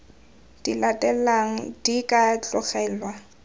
di latelang di ka tlogelwa